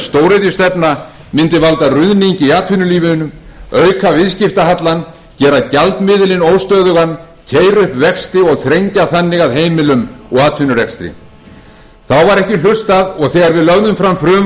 stóriðjustefna mundi valda ruðningi í atvinnulífinu auka viðskiptahallann gera gjaldmiðilinn óstöðugan keyra upp vexti og þrengja þannig að heimilum og atvinnurekstri þá var ekki hlustað og þegar við lögðum fram frumvarp